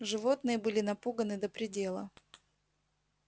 животные были напуганы до предела